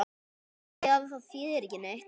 Afþvíað það þýðir ekki neitt.